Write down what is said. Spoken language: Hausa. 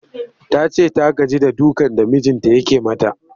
Ta ce ta gaji da dukan da mijinta yake mata